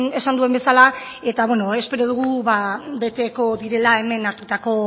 esan duen bezala eta espero dugu beteko direla hemen hartutako